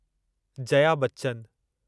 Jaya Bachchan